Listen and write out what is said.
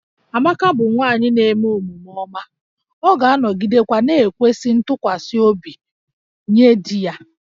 Amaka bụ nwanyị na-eme omume ọma, ọ ga-anọgidekwa na-ekwesị ntụkwasị obi nye di ya